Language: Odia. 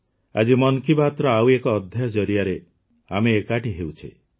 ଆଜି ମନ କି ବାତ୍ର ଆଉ ଏକ ଅଧ୍ୟାୟ ଜରିଆରେ ଆମେ ଏକାଠି ହେଉଛେ